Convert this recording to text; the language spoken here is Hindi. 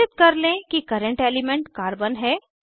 निश्चित कर लें कि कर्रेंट एलिमेंट कार्बन है